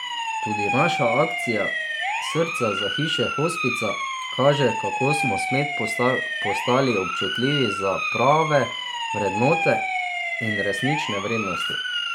Tudi naša akcija, srca za hiše hospica, kaže, kako smo spet postali občutljivi za prave vrednote in resnične vrednosti.